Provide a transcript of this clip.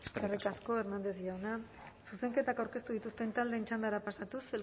eskerrik asko eskerrik asko hernández jauna zuzenketak aurkeztu dituzten taldeen txandara pasatuz